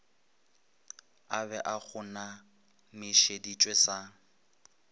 a be a kgonamišeditšwe sa